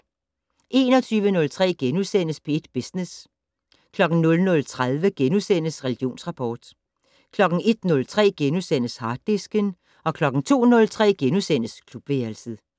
21:03: P1 Business * 00:30: Religionsrapport * 01:03: Harddisken * 02:03: Klubværelset *